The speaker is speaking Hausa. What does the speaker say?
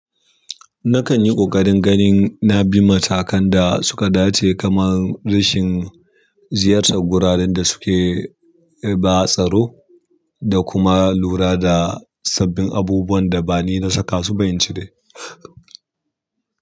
Nakan yi ƙoƙarin ganin na bi matakan da suka dace kamar rashin ziyartar guraren da suke ba tsaro da kuma lura da sabbin abubuwan da ba ni na saka su ba in cire.